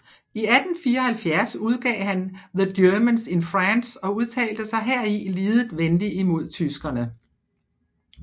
I 1874 udgav han The Germans in France og udtalte sig heri lidet venlig imod tyskerne